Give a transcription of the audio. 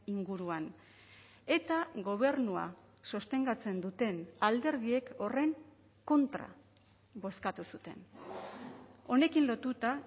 inguruan eta gobernua sostengatzen duten alderdiek horren kontra bozkatu zuten honekin lotuta